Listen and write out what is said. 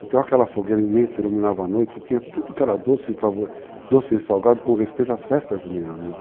Então aquela fogueira imensa iluminava a noite e tinha tudo que era doce e salgado com respeito às festas juninas.